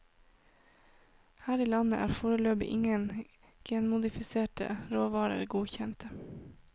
Her i landet er foreløpig ingen genmodifiserte råvarer godkjent.